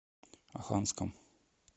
оханском